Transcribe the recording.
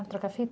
trocar a fita?